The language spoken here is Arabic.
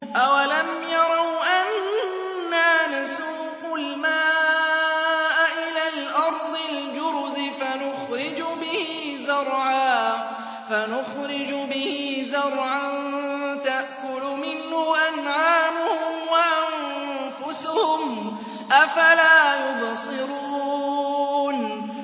أَوَلَمْ يَرَوْا أَنَّا نَسُوقُ الْمَاءَ إِلَى الْأَرْضِ الْجُرُزِ فَنُخْرِجُ بِهِ زَرْعًا تَأْكُلُ مِنْهُ أَنْعَامُهُمْ وَأَنفُسُهُمْ ۖ أَفَلَا يُبْصِرُونَ